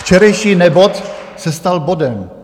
Včerejší nebod se stal bodem.